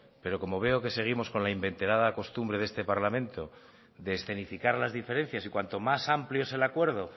pero como veo que seguimos con la inveterada costumbre de este parlamento de escenificar las diferencias y cuanto más amplio es el acuerdo